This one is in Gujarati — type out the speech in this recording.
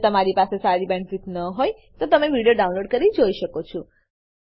જો તમારી પાસે સારી બેન્ડવિડ્થ ન હોય તો તમે વિડીયો ડાઉનલોડ કરીને જોઈ શકો છો